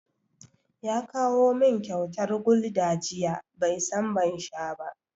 Ya kawo min kyauta Gulder jiya, bai san ban sha ba.